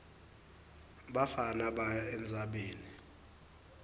bafana baya entsabeni